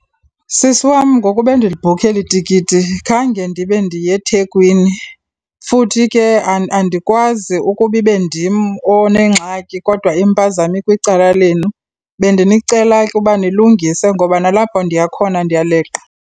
Sisi wam, ngoku bendilibhukha eli tikiti khange ndibe ndiyeThekwini futhi ke andikwazi ukuba ibe ndim onengxaki kodwa impazamo ikwicala lenu. Bendinicela ke uba nilungise ngoba nalapho ndiya khona ndiyaleqa.